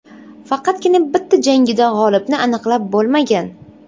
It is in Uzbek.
Faqatgina bitta jangida g‘olibni aniqlab bo‘lmagan.